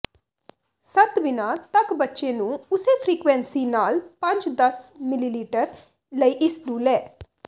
ਸੱਤ ਬਿਨਾ ਤੱਕ ਬੱਚੇ ਨੂੰ ਉਸੇ ਫਰੀਕੁਇੰਸੀ ਨਾਲ ਪੰਜ ਦਸ ਿਮਲੀਲੀਟਰ ਲਈ ਇਸ ਨੂੰ ਲੈ